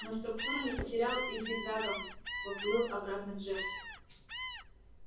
но структуры не потерял и зигзагам поплыл обратно к жертве